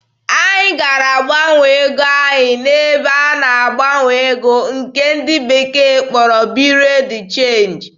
Anyị gara gbanwee ego anyị n'ebe a na-agbanwe ego nke ndị bekee kpọrọ "Bureau de change."